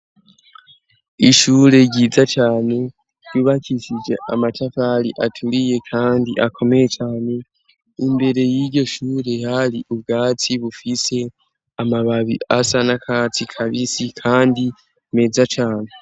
Ishure ry'intango ryiza cane ryubakishije amatavali acuriye, kandi akomeye cane risakajwe n'amabati mashasha imbere y'iryo shure hari hashashe neza cane ryari ibifise umuryango ukoresheje ijuru.